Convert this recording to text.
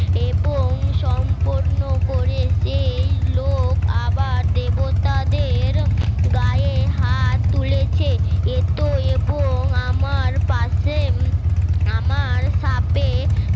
এবং সম্পূর্ণ করে সেই লোক আবার দেবতাদের গায়ে হাত তুলেছে। এত এবং আমার পাশে আমার সাপে